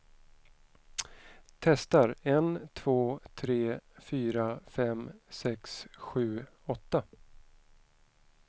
Testar en två tre fyra fem sex sju åtta.